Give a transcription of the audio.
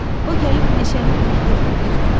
O gəlib meşəni qırdırdı bir gün.